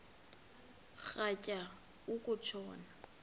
rhatya uku tshona